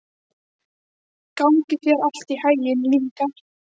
Gangi þér allt í haginn, Lyngar.